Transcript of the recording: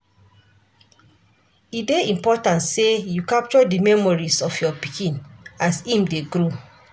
E dey important sey you capture di memories your pikin as im dey grow.